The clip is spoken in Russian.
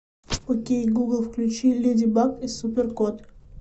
окей гугл включи леди баг и супер кот